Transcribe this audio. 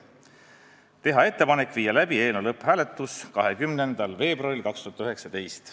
Otsustati teha ettepanek viia läbi eelnõu lõpphääletus 20. veebruaril 2019.